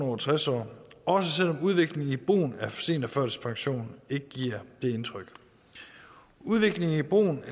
over tres år også selv om udviklingen i brugen af seniorførtidspension ikke giver det indtryk udviklingen i brugen